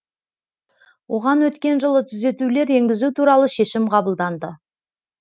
оған өткен жылы түзетулер енгізу туралы шешім қабылданды